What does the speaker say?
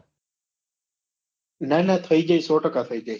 ના ના થઇ જાય